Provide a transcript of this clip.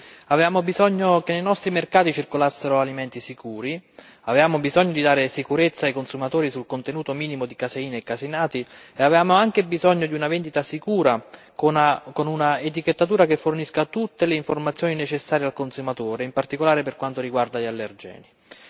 Signora Presidente, onorevoli deputati, avevamo bisogno che nei nostri mercati circolassero alimenti sicuri, avevamo bisogno di dare sicurezza ai consumatori sul contenuto minimo di caseina e caseinati e avevamo anche bisogno di una vendita sicura con un'etichettatura che fornisse tutte le informazioni necessarie al consumatore, in particolare per quanto riguarda gli allergeni.